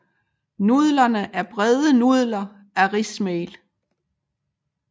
Nudlerne er brede nudler af rismel